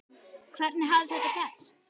Hvernig hafði þetta gerst?